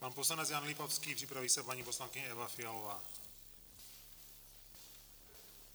Pan poslanec Jan Lipavský, připraví se paní poslankyně Eva Fialová.